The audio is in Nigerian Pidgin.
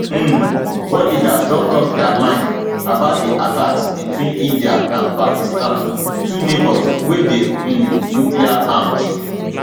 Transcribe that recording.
um world leaders don tok dia mind about di attacks between india and pakistan two neigbours wey dey um nucleararmed